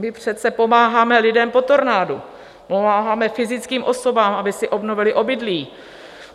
My přece pomáháme lidem po tornádu, pomáháme fyzickým osobám, aby si obnovily obydlí.